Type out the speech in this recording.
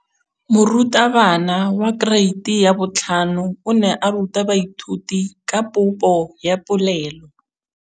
Moratabana wa kereiti ya 5 o ne a ruta baithuti ka popô ya polelô.